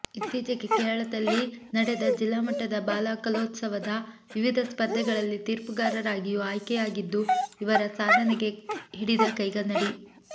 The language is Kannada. ಇತ್ತೀಚೆಗೆ ಕೇರಳದಲ್ಲಿ ನಡೆದ ಜಿಲ್ಲಾಮಟ್ಟದ ಬಾಲ ಕಲೋತ್ಸವದ ವಿವಿಧ ಸ್ಪರ್ಧೆಗಳಲ್ಲಿ ತೀರ್ಪುಗಾರರಾಗಿಯೂ ಆಯ್ಕೆಯಾಗಿದ್ದು ಇವರ ಸಾಧನೆಗೆ ಹಿಡಿದ ಕೈಗನ್ನಡಿ